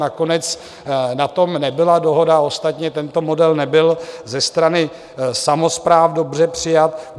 Nakonec na tom nebyla dohoda, ostatně tento model nebyl ze strany samospráv dobře přijat.